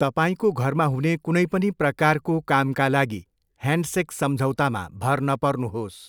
तपाईँको घरमा हुने कुनै पनि प्रकारको कामका लागि ह्यान्डसेक सम्झौतामा भर नपर्नुहोस्।